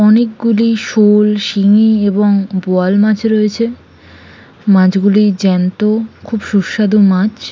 অনেকগুলি শোল শিঙি এবং বোয়াল মাছ রয়েছে মাছগুলি জ্যান্ত খুব সুস্বা্দু মাছ ।